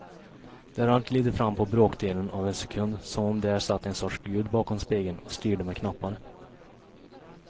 Där allt glider fram på bråkdelen av en sekund som om där satt en sorts gud bakom spegeln och styrde med knappar.